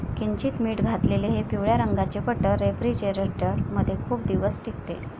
किंचित मीठ घातलेले हे पिवळ्या रंगाचे बटर रेफ्रीजरेटर मध्ये खूप दिवस टिकते.